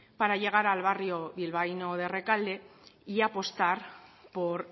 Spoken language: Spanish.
para llegar al barrio bilbaíno de rekalde y apostar por